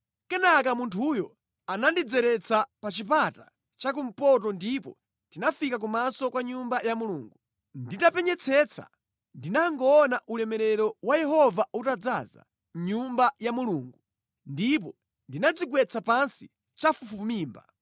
Kenaka munthuyo anandidzeretsa pa chipata chakumpoto ndipo tinafika kumaso kwa Nyumba ya Mulungu. Nditapenyetsetsa ndinangoona ulemerero wa Yehova utadzaza mʼNyumba ya Mulungu, ndipo ndinadzigwetsa pansi chafufumimba.